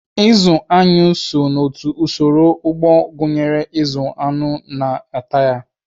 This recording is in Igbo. Ịzụ aṅụ so n'otu usoro ugbo gụnyere ịzụ aṅụ na ete ha.